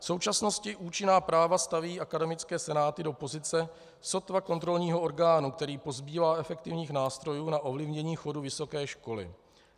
V současnosti účinná práva staví akademické senáty do pozice sotva kontrolního orgánu, který pozbývá efektivních nástrojů na ovlivnění chodu vysoké školy.